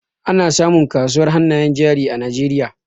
Ana samun kasuwar hannayen jari a Najeriay